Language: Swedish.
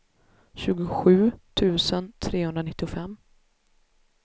tjugosju tusen trehundranittiofem